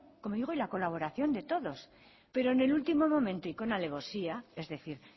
como digo y la colaboración de todos pero en el último momento y con alevosía es decir